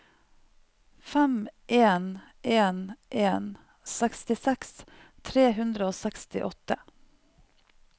fem en en en sekstiseks tre hundre og sekstiåtte